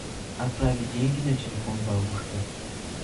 отправить деньги на телефон бабушке